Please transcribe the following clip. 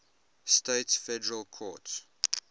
states federal courts